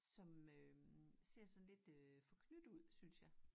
Som øh ser sådan lidt øh forknyttet ud synes jeg